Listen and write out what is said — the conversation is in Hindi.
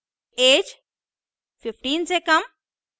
ऐज 15 से कम